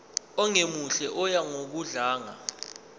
ongemuhle oya ngokudlanga